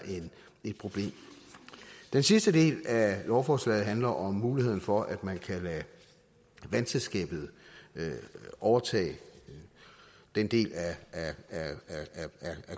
et problem den sidste del af lovforslaget handler om muligheden for at man kan lade vandselskabet overtage den del af